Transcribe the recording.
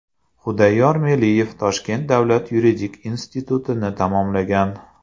Xudayor Meliyev Toshkent davlat yuridik institutini tamomlagan.